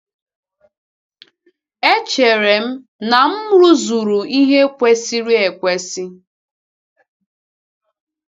Echere m na m rụzuru ihe kwesịrị ekwesị.